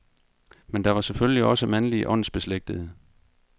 Men der var selvfølgelig også mandlige åndsbeslægtede.